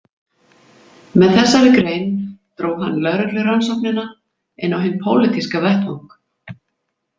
Með þessari grein dró hann lögreglurannsóknina inn á hinn pólitíska vettvang.